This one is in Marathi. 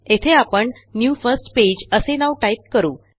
येथे आपणnew फर्स्ट पेज असे नाव टाईप करू